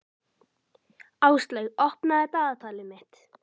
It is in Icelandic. Áslaug, opnaðu dagatalið mitt.